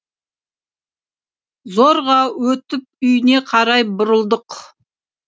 зорға өтіп үйіне қарай бұрылдық